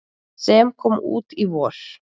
sem kom út í vor.